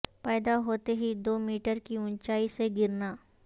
پیدا ہوتے ہی دو میٹر کی اونچائی سے گرنا